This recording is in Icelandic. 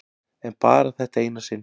En bara þetta eina sinn.